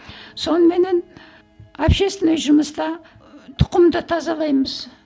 соныменен общественный жұмыста тұқымды тазалаймыз